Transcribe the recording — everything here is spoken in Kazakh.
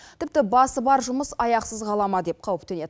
тіпті басы бар жұмыс аяқсыз қала ма деп қауіптенеді